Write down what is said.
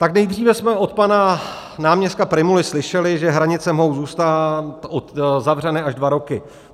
Tak nejdříve jsme od pana náměstka Prymuly slyšeli, že hranice mohou zůstat zavřeny až dva roky.